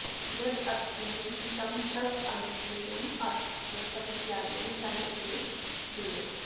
यद्यद् विहितं तदनुष्ठेयमथ च परित्यागे दण्ड एव देयः